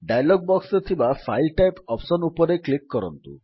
dialog ବକ୍ସରେ ଥିବା file type option ଉପରେ କ୍ଲିକ୍ କରନ୍ତୁ